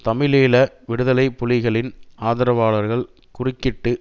தமிழீழ விடுதலை புலிகளின் ஆதரவாளர்கள் குறுக்கிட்டு